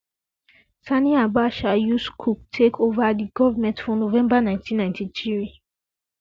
sani abacha use coup take ova di goverment for november ninety ninety three